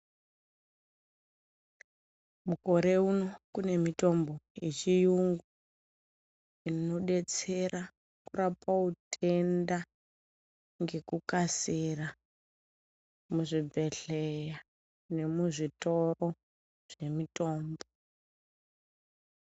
Mukore uno kune mitombo yechiyungu inodetsera kurapa utenda ngekukasira muzvibhehleya nemuzvitoro zvemutombo.